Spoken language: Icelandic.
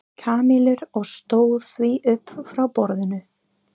Kamillu og stóð því upp frá borðinu.